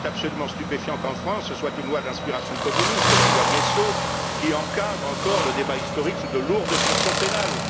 Il est absolument stupéfiant qu'en France, ce soit une loi d'inspiration communiste, la loi Guessot, qui encadre encore le débat historique sous de lourdes sanctions pénales.